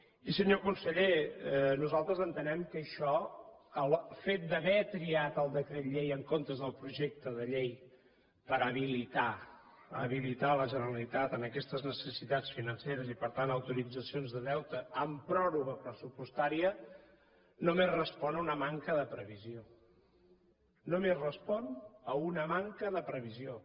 i senyor conseller nosaltres entenem que això que el fet d’haver triat el decret llei en comptes del projecte de llei per habilitar habilitar la generalitat en aquestes necessitats financeres i per tant a autoritzacions de deute en pròrroga pressupostària només respon a una manca de previsió només respon a una manca de previsió